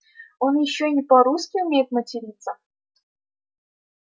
он ещё и не по-русски умеет материться